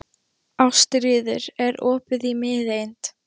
Ástríður, er opið í Miðeind?